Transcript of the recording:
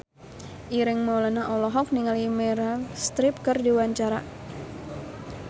Ireng Maulana olohok ningali Meryl Streep keur diwawancara